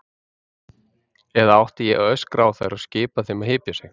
Eða átti ég að öskra á þær og skipa þeim að hypja sig?